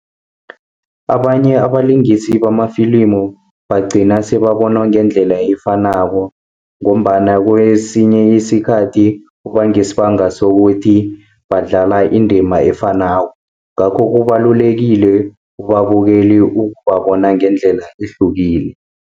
Abanye abalingisi bamafilimu bagcina sebabonwa ngendlela efanako, ngombana kesinye isikhathi kuba ngesibanga sokuthi badlala indima efanako. Ngakho kubalulekile kubabukeli ukubabona ngendlela ehlukile.